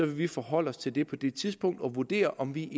vi forholde os til det på det tidspunkt og vurdere om vi